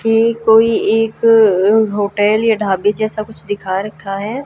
ये कोई एक होटल या ढाबे जैसा कुछ दिखा रखा है।